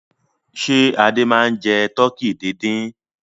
Ṣé Adé máa ń jẹ tọkí dídín?